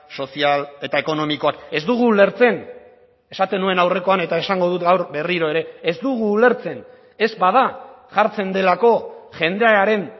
sozial eta ekonomikoak ez dugu ulertzen esaten nuen aurrekoan eta esango dut gaur berriro ere ez dugu ulertzen ez bada jartzen delako jendearen